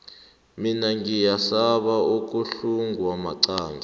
mina ngiyasaba ukuhlungwa maqangi